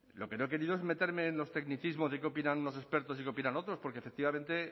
lo que no he querido es meterme en los tecnicismos de qué opinan unos expertos y que opinan otros porque efectivamente